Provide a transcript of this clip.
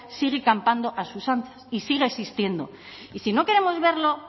sigue campando a sus anchas y sigue existiendo y si no queremos verlo